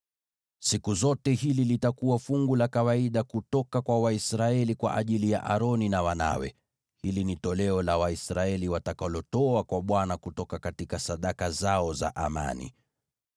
Siku zote hili litakuwa fungu la kawaida kutoka kwa Waisraeli kwa ajili ya Aroni na wanawe. Hili ni toleo la Waisraeli watakalotoa kwa Bwana kutoka sadaka zao za amani.